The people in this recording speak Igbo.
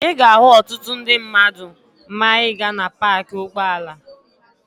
Ị ga-ahụ ọtụtụ ndị mmadụ maa ị gaa na paakị ụgbọala..